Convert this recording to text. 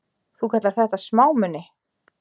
Þú kallar þetta smámuni!